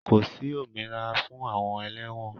Kò sí òmìnira fún àwọn ẹlẹ́wọ̀n.